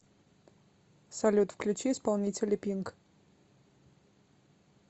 салют включи исполнителя пинк